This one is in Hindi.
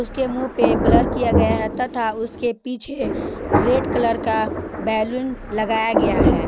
के मुंह पे ब्लर किया गया है तथा उसके पीछे रेड कलर का बैलून लगाया गया है।